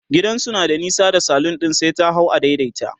gidansu na da nesa da salon ɗin sai ta hau a daidaita